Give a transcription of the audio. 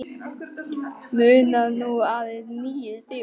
Munar nú aðeins níu stigum.